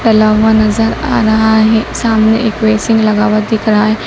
टला हुआ नजर आ रहा है सामने एक बेसिंग लगा हुआ दिख रहा है।